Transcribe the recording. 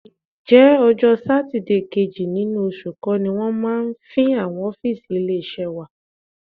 Ǹjẹ́ ọjọ́ Sátidé kejì nínú oṣù kọ́ ni wọ́n máa ń fín àwọn ọ́fíìsì ilé-iṣẹ́ wa?